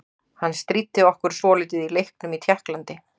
Hann stríddi okkur svolítið í leiknum í Tékklandi.